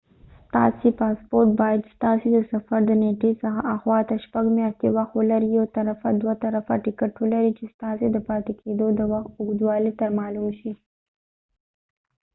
ستاسې پاسپورت باید ستاسې د سفر د نيټی څخه اخواته شپږ میاشتی وخت ولري یو طرفه دوه طرفه ټکټ ولري چې ستاسې د پاتی کېدو د وخت اوږدوالی تر معلوم شي